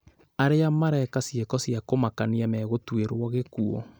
Arĩa mareka ciĩko cia kũmakania megũtuĩrwo gĩkuũ